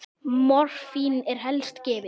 Morfín er helst gefið